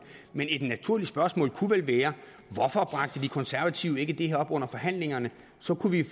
men et naturligt spørgsmål kunne vel være hvorfor bragte de konservative ikke det her op under forhandlingerne så kunne vi